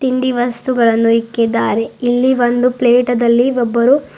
ತಿಂಡಿ ವಸ್ತುಗಳನ್ನು ಇಕ್ಕಿದ್ದಾರೆ ಇಲ್ಲಿ ಪ್ಲೇಟದಲ್ಲಿ ಒಬ್ಬರು--